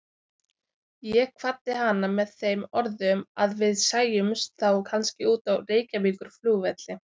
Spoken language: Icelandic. Ég kvaddi hana með þeim orðum að við sæjumst þá kannski úti á Reykjavíkurflugvelli.